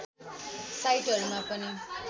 साइटहरूमा पनि